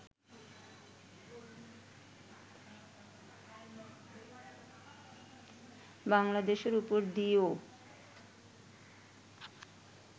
বাঙলা দেশের উপর দিয়েও